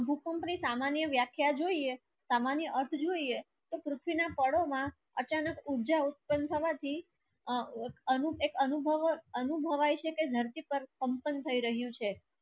આ ભૂકંપ ની સામાન્ય વ્યાખ્યા જોઈએ સામાન્ય અર્થ જોઈએ તો પૃથ્વી ના પાડો માં અચાનક ઉર્જા ઉત્પન થવાથી અનુ અનુ ભાવ અનુ ભવાય છે કે ધરતી પર કંપન થઈ રહ્યું છે